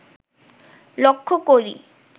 লক্ষ করি